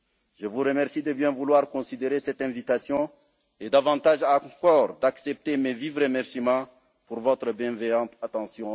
tendues. Je vous remercie de bien vouloir considérer cette invitation et, davantage encore, d'accepter mes vifs remerciements pour votre bienveillante attention.